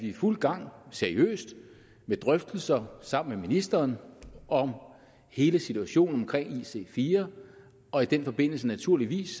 i fuld gang med seriøse drøftelser sammen med ministeren om hele situationen omkring ic4 og i den forbindelse naturligvis